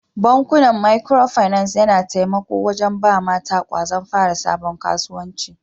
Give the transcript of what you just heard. Bankuna Micro finance yana taimako wajen ba mata kwazon fara sabon kasuwanci.